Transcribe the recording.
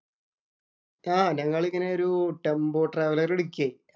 ആഹ് ഞങ്ങളിങ്ങനെ ഒരു tempo traveller‍ എടുക്കിയെ.